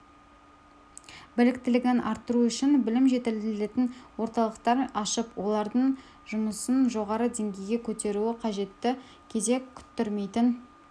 біліктілігін арттыру үшін білім жетілдіретін орталықтар ашып олардың жұмысын жоғары деңгейге көтеру қажеттігі кезек күттірмейтін